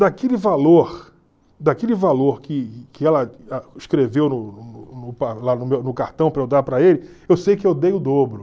Daquele valor daquele valor que que ela escreveu no no cartão para eu dar para ele, eu sei que eu dei o dobro.